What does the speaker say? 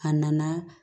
A nana